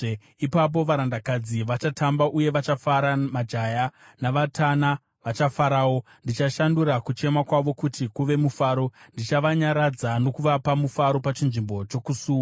Ipapo varandakadzi vachatamba uye vachafara, majaya navatana vachafarawo. Ndichashandura kuchema kwavo kuti kuve mufaro; ndichavanyaradza uye ndichavapa mufaro pachinzvimbo chokusuwa.